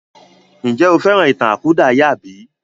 Ǹjẹ́ o fẹ́ràn ìtàn àkúdàáyà bí?